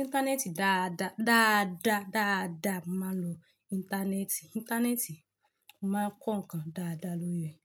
íńtánẹ́ẹ̀tì dáadáa, dáadáa, dáadáa. Mo máa ń lo íńtánẹ́ẹ̀tì. Íńtánẹ́ẹ̀tì, mo máa ń kọ nǹkan dáadáa lórí rẹ̀.